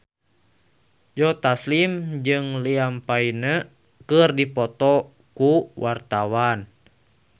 Joe Taslim jeung Liam Payne keur dipoto ku wartawan